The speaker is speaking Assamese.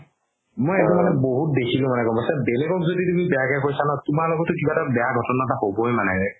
মই শেত্ৰত মানে বহুত বেচি বেলেগক যদি তুমি বেয়াকে কৈছা ন তুমাৰ লগতও কিবা এটা বেয়া ঘতনা হ'বৈ মানে ৰে